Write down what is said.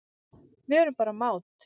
Við erum bara mát